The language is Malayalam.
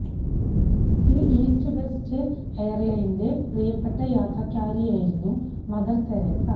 ഈ ഈസ്റ്റ് വെസ്റ്റ് എയര്ലൈന്സിന്റെ പ്രിയപ്പെട്ട യാത്രക്കാരിയായിരുന്നു മദര് തെരേസ